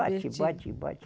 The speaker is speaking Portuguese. Bate, bate, bate.